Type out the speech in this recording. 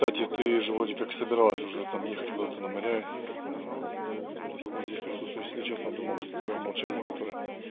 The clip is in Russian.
катя ты же вроде как собиралась уже там ехать куда-то на моря до сих пор здесь присутствует если честно думал что твоё молчание которое